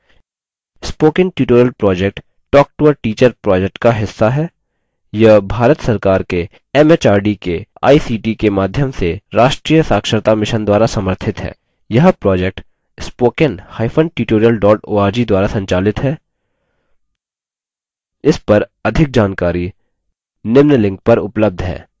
spoken tutorial project talktoateacher project का हिस्सा है यह भारत सरकार के एमएचआरडी के आईसीटी के माध्यम से राष्ट्रीय साक्षरता mission द्वारा समर्थित है यह project